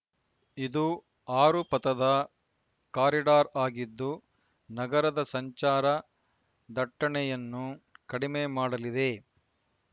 ಇದು ಆರು ಪಥದ ಕಾರಿಡಾರ್ ಆಗಿದ್ದು ನಗರದ ಸಂಚಾರ ದಟ್ಟಣೆಯನ್ನು ಕಡಿಮೆ ಮಾಡಲಿದೆ